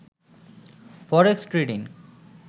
forex trading